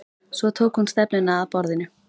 Svo tók hún stefnuna að borðinu.